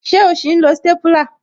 Ṣé o sì ń lo stépúlà